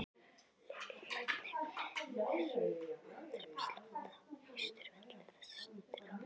Lillý, hvernig er andrúmsloftið á Austurvelli þessa stundina?